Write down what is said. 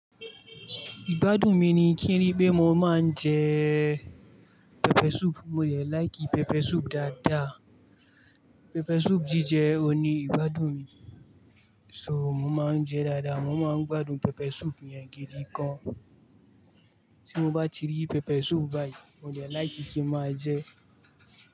Ìgbádùn mi ni kí n rí pé mo máa ń jẹ pepper soup, mo dè like pepper soup dáadáa. Pepper soup jíjẹ òuní ìgbádùn mi, so mo máa ń jẹ dáadáa, mo máa ń gbádùn pepper soup yẹn gidi gan. Tí mo bá ti rí pepper soup báyìí, mo dè like kí n máa jẹ.